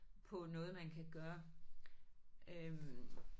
På noget man kan gøre øh